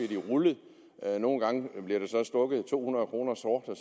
de rullet nogle gange bliver der så stukket to hundrede kroner sort og